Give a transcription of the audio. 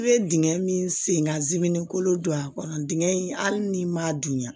I bɛ dingɛ min sen ka jiminɛn kolo don a kɔnɔ dingɛ in hali n'i m'a dunya